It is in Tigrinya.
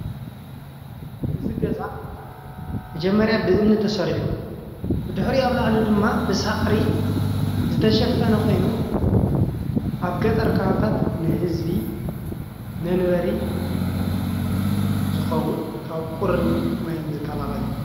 እዚ ገዛ መጀመርያ ብእምኒ ተሰሪሑ ብድሕሪኡ አብ ላዕሊ ድማ ብሳዕሪ ዝተሸፈነ ኮይኑ አብ ገጠር ከባቢታት ንህዝቢ መንበሪ ዝኮውን ካብ ቁርን ማይን ዝካላከል እዩ።